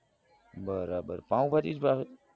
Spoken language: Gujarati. બરાબર પાવભાજી જ ભાવે